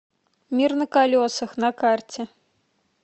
мир на колесах на карте